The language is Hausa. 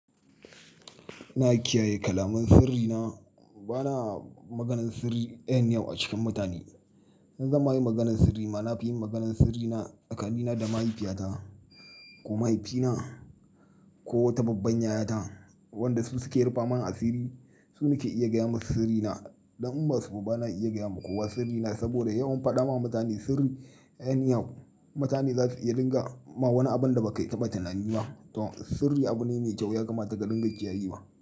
Ina kiyaye kalaman sirri na, bana maganan sirri anyhow a cikin mutane. In zan ma yi maganan sirri ma, na fi yin maganan sirri na tsakani da mahaifiyata ko mahaifina ko ta babban yayata wanda su su ke rufa man asiri. Su nike iya gaya ma sirri na. Dan in ba su ba bana iya gaya ma kowa sirri na saboda yawan faɗa ma mutane sirri anyhow, mutane za su iya dinga ma wani abin da ba kai taɓa tunani ba. To sirri abu ne mai kyau ya kama ta ka dinga kiyaye wa.